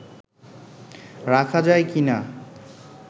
রাখা যায় কীনা